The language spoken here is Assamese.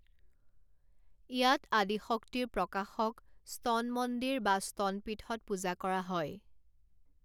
ইয়াত আদি শক্তিৰ প্ৰকাশক স্তন মন্দিৰ বা স্তন পীঠত পূজা কৰা হয়।